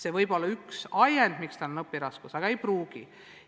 See võib olla üks ajend, miks laps maha jääb, aga ei pruugi olla.